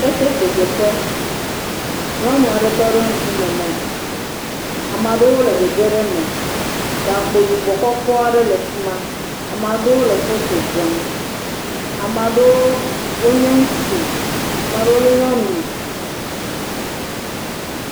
Keteke dze ƒe. Nyɔnua ɖe tɔ ɖe ŋkume ne. Amewo le gege ɖe me. Gakpo yibɔ kɔkɔ aɖe le fima. Ame aɖewo le foto ɖem. Ame aɖewo nye ŋutsu, ame aɖewo nye nyɔnu.